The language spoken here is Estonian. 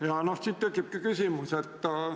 Ja siit tekibki küsimus.